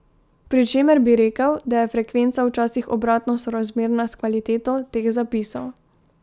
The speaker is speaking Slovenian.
Pri čemer bi rekel, da je frekvenca včasih obratno sorazmerna s kvaliteto teh zapisov.